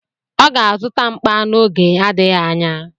Ọ ga-azụta mkpa n'oge n'adịghị anya.